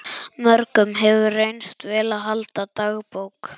Mörgum hefur reynst vel að halda dagbók.